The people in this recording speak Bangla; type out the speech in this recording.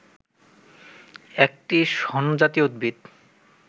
একটি শণ জাতীয় উদ্ভিদ